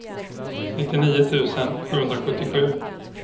nittionio tusen sjuhundrasjuttiosju